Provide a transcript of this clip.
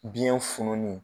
Biyɛn fununni